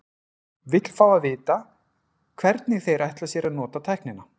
Vill fá að vita, hvernig þeir ætla sér að nota tæknina.